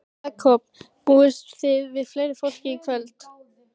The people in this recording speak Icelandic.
Jakob, búist þið við fleira fólki í kvöld?